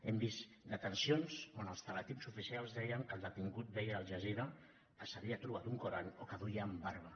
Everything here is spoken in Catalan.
hem vist detencions on els teletips oficials deien que el detingut veia al jazira que s’havia trobat un alcorà o que duien barba